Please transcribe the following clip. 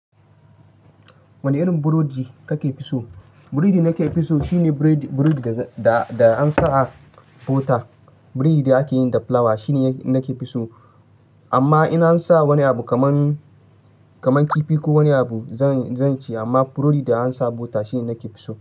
Wane irin burodi ka ke fi so? Burodi nake fi so shine burodi da, da an sa a bota. Burodi da ake yi da fulawa shine nake fi so. Amma ina sa wani abu kamar, kamar kifi ko wani abu zan, zan ci. Amma burodi da an sa bota shine nake fi so.